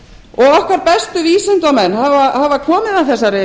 og okkar bestu vísindamenn hafa komið að þessari